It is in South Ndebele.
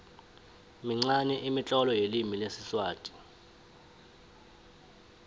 minqani imitlolo yelimi lesiswati